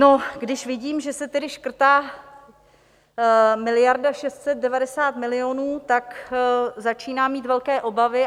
No, když vidím, že se tedy škrtá miliarda 690 milionů, tak začínám mít velké obavy.